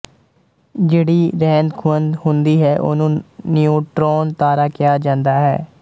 ਜਿਹੜੀ ਰਹਿੰਦਖੂਹੰਦ ਹੁੰਦੀ ਹੈ ਉਹਨੂੰ ਨਿਉਟ੍ਰੋਨ ਤਾਰਾ ਕਿਹਾ ਜਾਂਦਾ ਹੈ